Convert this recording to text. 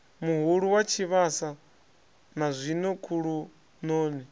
muhulu wa tshivhasa nazwino khulunoni